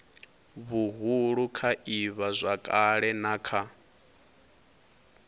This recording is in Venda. huhulu kha ivhazwakale na kha